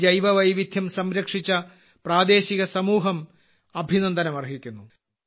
ഈ ജൈവവൈവിധ്യം സംരക്ഷിച്ച പ്രാദേശിക സമൂഹം അഭിനന്ദനം അർഹിക്കുന്നു